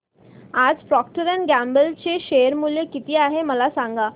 आज Procter and Gamble चे share मूल्य किती आहे मला सांगा